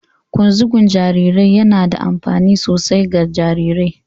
Ƙunzugun jarirai yana da amfani sosai ga jarirai